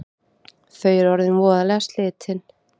Þau eru orðin voðalega slitin